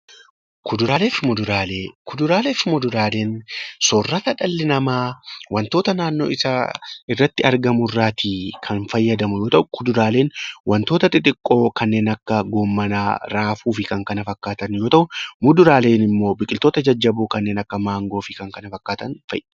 Kuduraalee fi muduraaleen soorata dhalli namaa wantoota naannoo isaatti argamu irraa kan fayyadamu yoo ta'u, kuduraaleen wantoota xixiqqoo kanneen akka raafuu fi Kan kana fakkaatan yoo ta'u, muduraaleen immoo biqiloota jajjaboo kanneen akka maangoo fi kan kana fakkaatan fa'i